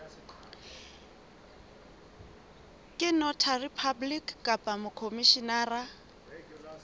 ke notary public kapa mokhomishenara